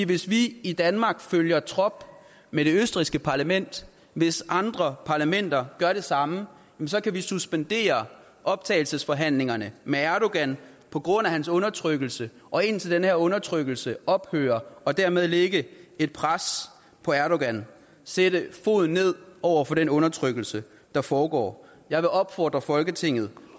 hvis vi i danmark følger trop med det østrigske parlament hvis andre parlamenter gør det samme så kan vi suspendere optagelsesforhandlingerne med erdogan på grund af hans undertrykkelse og indtil den her undertrykkelse ophører og dermed lægge et pres på erdogan sætte foden ned over for den undertrykkelse der foregår jeg vil opfordre folketinget